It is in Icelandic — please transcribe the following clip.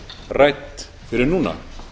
rædd fyrir en núna